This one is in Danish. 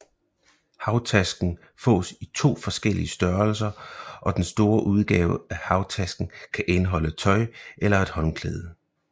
Havtasken fås i to forskellige størrelser og den store udgave af havtasken kan indeholde tøj eller et håndklæde